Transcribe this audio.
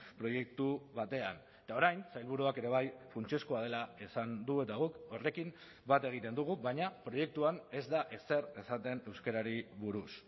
proiektu batean eta orain sailburuak ere bai funtsezkoa dela esan du eta guk horrekin bat egiten dugu baina proiektuan ez da ezer esaten euskarari buruz